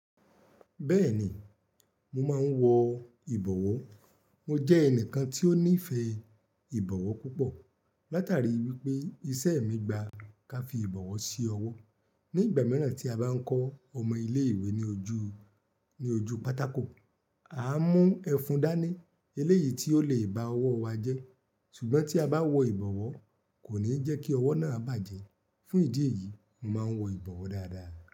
Bẹ́ẹ̀ni, mo máa ń wọ ìbọ̀wọ́. Mo jẹ́ ẹnìkan tí ó nífẹ̀ẹ́ ìbọ̀wọ́ púpọ̀ látàrí wípé iṣẹ́ mi gba ká fi ìbọ̀wọ̀ sí ọwọ́. Ní ìgbà mìíràn tí a bá ń kọ́ ọmọ ilé ìwé ní ojú, ní ojú pátákò, a má ń mú ẹfun dání eléyìí tí ó le bá ọwọ́ wa jẹ́. Ṣùgbọ́n tí a bá wọ ìbọ̀wọ́ kò ní jẹ́ kí ọwọ́ náà bàjẹ́. Fún ìdí èyí, mo máa ń wọ ìbọ̀wọ́ dáadáa.